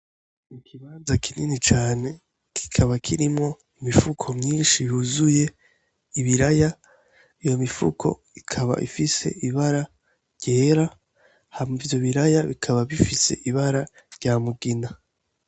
Ikibanza kinini cane, kikaba kirimwo imifuko myinshi yuzuye ibiraya. Iyo mifuko ikaba ifise ibara ryera hama ivyo biraya bikaba bifise ibara rya mugina.